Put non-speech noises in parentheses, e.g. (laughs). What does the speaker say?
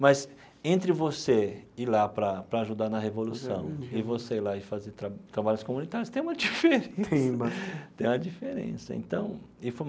Mas entre você ir lá para para ajudar na revolução e você ir lá e fazer tra trabalhos comunitários, tem uma diferença. (laughs) Tem bastante. Tem uma diferença então e foi um.